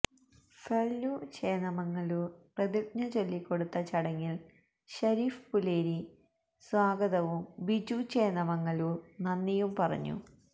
ഫള്ലു ചേന്നമംഗല്ലൂർ പ്രതിജ്ഞ ചൊല്ലിക്കൊടുത്ത ചടങ്ങിൽ ശരീഫ് പൂലേരി സ്വാഗതവും ബിജു ചേന്നമംഗല്ലൂർ നന്ദിയും പറഞ്ഞു